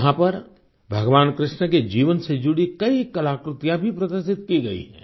यहाँ पर भगवान कृष्ण के जीवन से जुड़ी कई कलाकृतियाँ भी प्रदर्शित की गई हैं